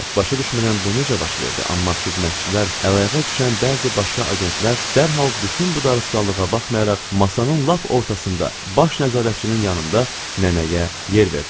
Başa düşmürəm bu necə baş verdi, amma xidmətçilər, əl-ayağa düşən bəzi başqa agentlər dərhal bütün bu darısqallığa baxmayaraq, masanın lap ortasında baş nəzarətçinin yanında nənəyə yer verdilər.